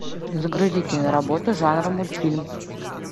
загрузи киноработу жанра мультфильм